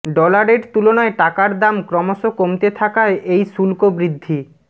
ডলারের তুলনায় টাকার দাম ক্রমশ কমতে থাকায় এই শুল্ক বৃদ্ধি